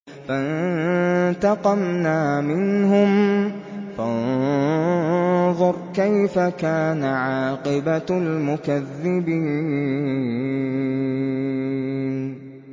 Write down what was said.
فَانتَقَمْنَا مِنْهُمْ ۖ فَانظُرْ كَيْفَ كَانَ عَاقِبَةُ الْمُكَذِّبِينَ